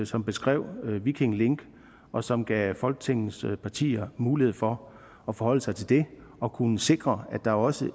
som beskrev viking link og som gav folketingets partier mulighed for at forholde sig til det og kunne sikre at der også